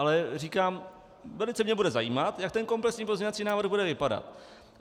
Ale říkám, velice mě bude zajímat, jak ten komplexní pozměňovací návrh bude vypadat.